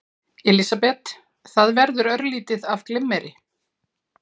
Elísabet: Það verður örlítið af glimmeri?